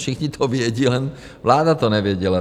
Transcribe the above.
Všichni to vědí, jen vláda to nevěděla.